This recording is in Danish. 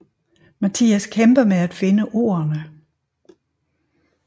Mathias kæmper med at finde ordene